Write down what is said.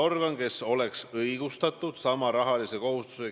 " Punkt üks, ma ei ole juba oma olemuselt selline igale poole trügija tüüp.